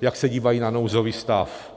jak se dívají na nouzový stav.